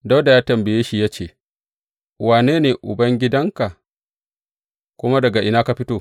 Dawuda ya tambaye shi ya ce, Wane ne ubangidanka, kuma daga ina ka fito?